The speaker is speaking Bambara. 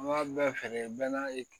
An b'a bɛɛ feere bɛɛ n'a ye